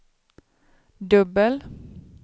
dubbel